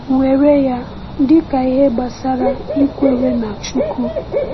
Were ya dị ka ihe gbasara ikwere n’Chukwu.